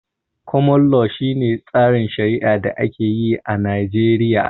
Koman lo, shi ne tsarin shari'ar da ake yi a Najeriya